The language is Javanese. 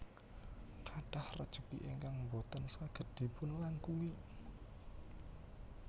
Kathah rejeki ingkang boten saged dipun langkungi